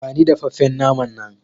Bani dafaffen naman nan!